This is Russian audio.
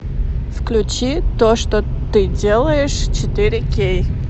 включи то что ты делаешь четыре кей